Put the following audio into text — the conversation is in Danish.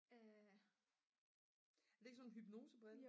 er det ikke sådan nogle hypnosebriller?